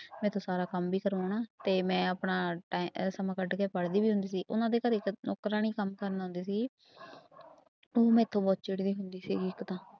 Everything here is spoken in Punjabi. ਮੈਥੋਂ ਸਾਰਾ ਕੰਮ ਵੀ ਕਰਵਾਉਣਾ ਤੇ ਮੈਂ ਆਪਣਾ ਟਾਇ ਅਹ ਸਮਾਂ ਕੱਢ ਕੇ ਪੜ੍ਹਦੀ ਵੀ ਹੁੰਦੀ ਸੀ ਉਹਨਾਂ ਦੇ ਘਰੇ ਇੱਕ ਨੌਕਰਾਣੀ ਕੰਮ ਕਰਨ ਆਉਂਦੀ ਸੀਗੀ ਉਹ ਮੈਥੋਂ ਬਹੁਤ ਚਿੜ੍ਹਦੀ ਹੁੰਦੀ ਸੀਗੀ ਇੱਕ ਤਾਂ